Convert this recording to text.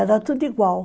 Era tudo igual.